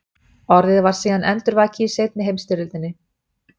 Orðið var síðan endurvakið í seinni heimsstyrjöldinni.